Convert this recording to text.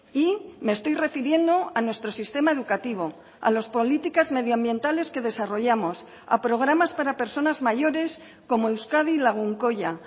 y me estoy refiriendo a nuestro sistema educativo a las políticas medioambientales que desarrollamos a programas para personas mayores como euskadi lagunkoia